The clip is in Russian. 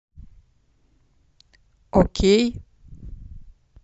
окей